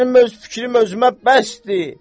Mənim öz fikrim özümə bəsdir.